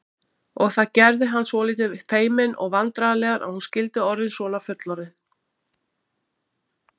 Og það gerði hann svolítið feiminn og vandræðalegan að hún skyldi orðin svona fullorðin.